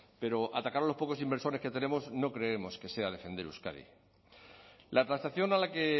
pero atacar a los pocos inversores que tenemos no creemos que sea defender euskadi la transacción a la que